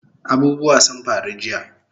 Abubuwa sun faru jiya